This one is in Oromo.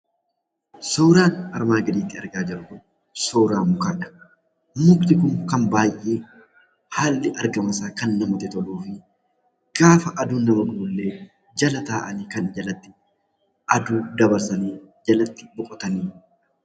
Suuraa kanaa gadii irratti kan argamu suuraa mukaati. Mukni Kun argaa namaatti kan baayyee namatti toluu fi innnis aduu nama irraa ittisuuf kan ooluu dha.